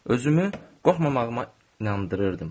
Özümü qorxmamağıma inandırırdım.